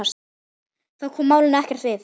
Það kom málinu ekkert við.